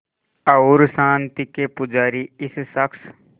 और शांति के पुजारी इस शख़्स